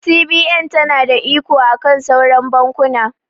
CBN ta na da iko akan sauran bankuna